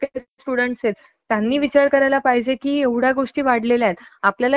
आणि सगळ्या गोष्टी नॉर्मल कशा होतील, नॉर्मल तर ह्या होणार नाहीत पण कमी कशा होतील